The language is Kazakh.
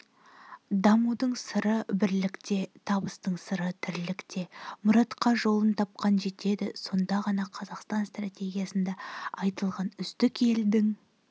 дамудың сыры бірлікте табыстың сыры-тірлікте мұратқа жолын тапқан жетеді сонда ғана қазақстан стратегиясында айтылған үздік елдің